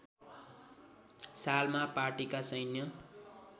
सालमा पार्टीका सैन्य